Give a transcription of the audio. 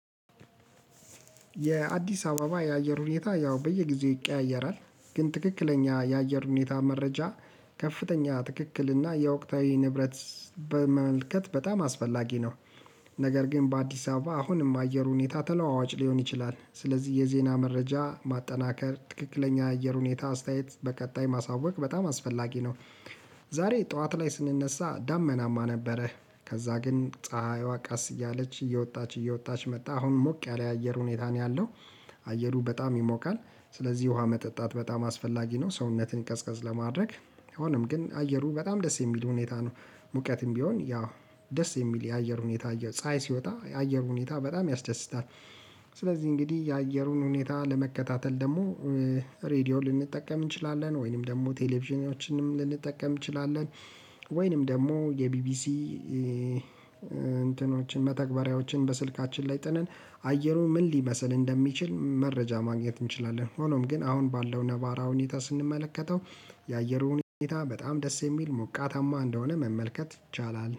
የአዲስ አበባ የአየር ሁኔታ ያው በየጊዜው ይቀያየራል ግን ትክክለኛ የአየር ሁኔታ መረጃ ከፍተኛ ትክክልና የወቅታዊ ንብረት በመልከት በጣም አስፈላጊ ነው። ነገር ግን በአዲስ አበባ አሁንም አየር ሁኔታ ተለዋዋጭ ሊሆን ይችላል ስለዚ የዜና መረጃ ማጠናከር ትክክለኛ አየር ሁኔታ አስተያየት በቀጣይ ማሳወቅ በጣም አስፈላጊ ነው። ዛሬ ጠዋት ላይ ስንነሳ ዳመናማ ነበረ ከዛ ግን ፀሀይዋ ቀስ እያለች እየወጣች እየወጣች መጣ አሁን ሞቅ ያለ አየር ሁኔታ ነው ያለው። አየሩ በጣም ይሞቃል ስለዚ ውሃ መጠጣት በጣም አስፈላጊ ነው ሰውነትን ቀዝቀዝ ለማድረግ። ሆኖም ግን አየሩ በጣም ደስ የሚል ሁኔታ ነው። ሙቀትም ቢሆን ያው ደስ የሚል የአየር ሁኔታ ፀሀይ ሲወጣ የአየር ሁኔታ በጣም ያስደስታል። ስለዚ እንግዲ የአየሩን ሁኔታ ለመከታተል ደሞ ሬድዮ ልንጠቀም እንችላለን ወይንም ደሞ ቴሌቪዥናችንም ልንጠቀም እንችላለን። ወይንም ደሞ የቢቢሲ እንትኖችን መተግበሪያዎችን በስልካችን ላይ ጥነን አየሩ ምን ሊመስል እንደሚችል መረጃ ማግኘት እንችላለን። ሆኖም ግን አሁን ባለው ነባራዊ ሁኔታ ስንመለከተው የአየሩን ሁኔታ በጣም ደስ የሚል ሞቃታማ እንደሆነ መመልከት ይቻላል